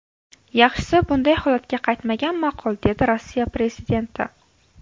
Yaxshisi, bunday holatga qaytmagan ma’qul”, dedi Rossiya prezidenti.